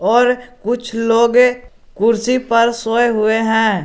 और कुछ लोगे कुर्सी पर सोए हुए हैं।